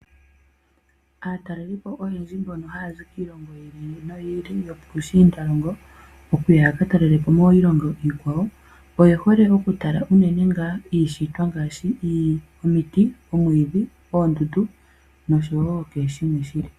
Aataleliipo oyendji mbono haya zi kiilongo yi ili noyi ili yopushiindalongo, okuya yaka talela po miilongo iikwawo oye hole okutala unene ngaa iishitwa ngaashi: omiti, omwiidhi, oondundu nosho wo kehe shimwe shi li po.